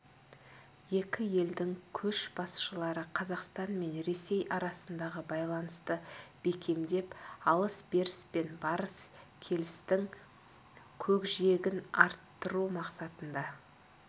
екі елдің көшбасшылары қазақстан мен ресей арасындағы байланысты бекемдеп алыс-беріс пен барыс-келістің көкжиегін арттыру мақсатында